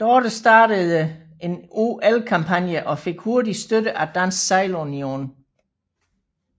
Dorte startede en OL kampagne og fik hurtigt støtte af Dansk Sejlunion